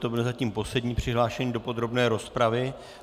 To byl zatím poslední přihlášený do podrobné rozpravy.